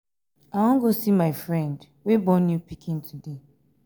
i wan go see my friend wey born new pikin today